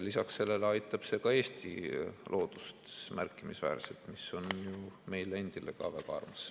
Lisaks sellele aitab see ka Eesti loodust märkimisväärselt, mis on ju meile endile ka väga armas.